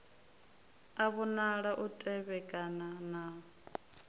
a vhonala u tevhekana na